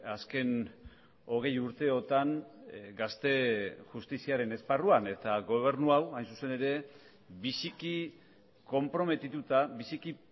azken hogei urteotan gazte justiziaren esparruan eta gobernu hau hain zuzen ere biziki konprometituta biziki